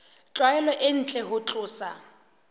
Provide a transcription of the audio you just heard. tlwaelo e ntle ho tlosa